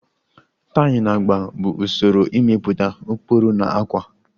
Tayi na agba bụ usoro ịmepụta ụkpụrụ na ákwà